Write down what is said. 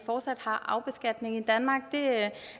fortsat har arvebeskatning i danmark det